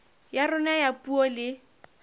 ya rona ya puo le